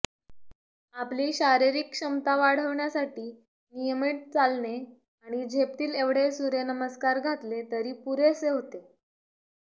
आपली शारीरिक क्षमता वाढवण्यासाठी नियमित चालणे आणि झेपतील एवढे सूर्यनमस्कार घातले तरी पुरेसे होते